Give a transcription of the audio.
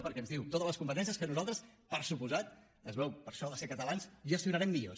perquè ens diu totes les competències que nosaltres per descomptat es veu per això de ser catalans gestionarem millor